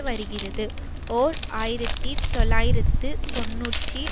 வருகிறது ஓர் ஆயிரத்தி தொள்ளாயிரத்து தொன்னூற்றி